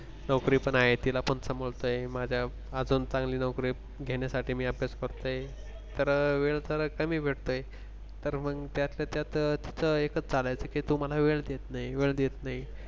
नोकरी पण आहे, तिला पण समजतंय माझ्या अजून चांगली नोकरी घेण्यासाठी मी अभ्यास करतोय तर वेळ तर कमी भेटतोय तर मग त्यातच त्यात एकच चालायचं की तू मला वेळ देत नाही वेळ देत नाही.